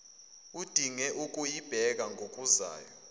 udinge ukuyibheka ngokuzayo